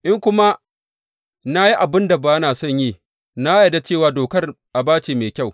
In kuma na yi abin da ba na son yi, na yarda da cewa dokar aba ce mai kyau.